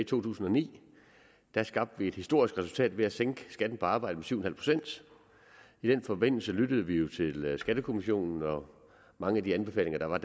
tusind og ni skabte vi et historisk resultat ved at sænke skatten på arbejde med syv procent i den forbindelse lyttede vi jo til skattekommissionen og mange af de anbefalinger der var